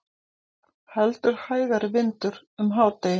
Heldur hægari vindur um hádegi